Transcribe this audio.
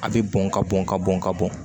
A bɛ bɔn ka bɔn ka bɔn ka bɔn